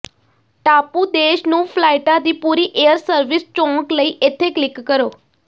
ਟਾਪੂ ਦੇਸ਼ ਨੂੰ ਫਲਾਈਟਾਂ ਦੀ ਪੂਰੀ ਏਅਰ ਸਰਵਿਸ ਚੌਂਕ ਲਈ ਇੱਥੇ ਕਲਿਕ ਕਰੋ